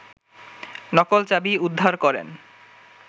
নকল চাবি উদ্ধার করেন